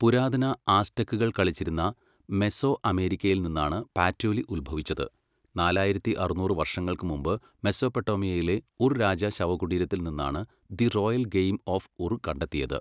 പുരാതന ആസ്ടെക്കുകൾ കളിച്ചിരുന്ന മെസോഅമേരിക്കയിൽ നിന്നാണ് പാറ്റോലി ഉത്ഭവിച്ചത്, നാലായിരത്തി അറുന്നൂറ് വർഷങ്ങൾക്ക് മുമ്പ് മെസൊപ്പൊട്ടേമിയയിലെ ഉർ രാജ ശവകുടീരത്തിൽ നിന്നാണ് the royal game of Ur കണ്ടെത്തിയത്.